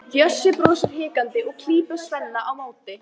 Bjössi brosir hikandi og klípur Svenna á móti.